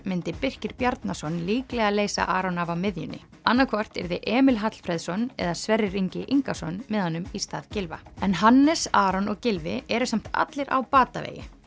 myndi Birkir Bjarnason líklega leysa Aron af á miðjunni annaðhvort yrði Emil Hallfreðsson eða Sverrir Ingi Ingason með honum í stað Gylfa en Hannes Aron og Gylfi eru samt allir á batavegi